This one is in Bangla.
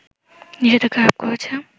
নিষেধাজ্ঞা আরোপ করেছে